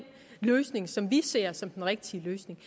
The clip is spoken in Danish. løsning som vi ser som den rigtige løsning